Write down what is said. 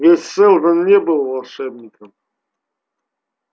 ведь сэлдон не был волшебником